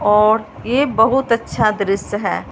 और ये बहुत अच्छा दृश्य हैं।